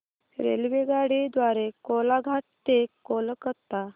रेल्वेगाडी द्वारे कोलाघाट ते कोलकता